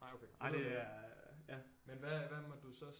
Nej okay det lyder lækkert men hvad måtte du så